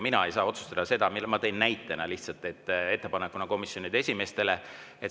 Mina ei saa seda otsustada, ma tõin selle lihtsalt näitena komisjonide esimeestele.